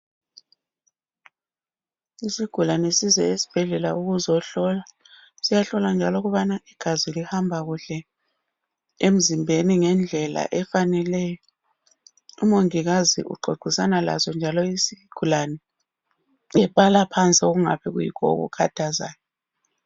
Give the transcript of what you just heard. Isigulane size esibhedlela ukuzohlolwa, siyahlolwa njalo ukubana igazi lihamba kuhle emzimbeni ngendlela efaneleyo. Umongikazi uxoxisa laso njalo isigulane ebala phansi okungabe kuyikho okukhathazayo.